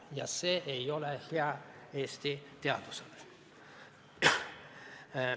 Ja see ei ole hea Eesti teadusele.